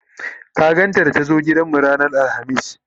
ka gan ta da ta zo gidanmu ran alhamis?